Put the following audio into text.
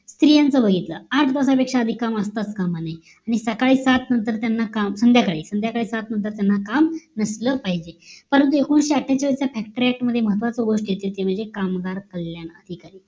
स्त्रियांचं बघितलं, आठ तासापेक्षा अधिक काम असता काम नये आणि सकाळी सात नंतर त्यांना काम संध्याकाळी संध्याकाळी सात नंतर त्यांना काम नसलं पाहिजे परंतु एकोणाविषे अट्ठेचाळीस च्या FACTORY ACT मध्ये एक महत्वाची गोष्ट येते ती म्हणजे कामगार कल्याण अधिकारी योजना